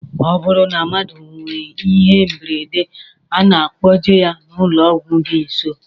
Ọ bụrụ na mmadụ nwee ihe mberede a na-akpọje ya n'ụlọọgwụ dị nsọ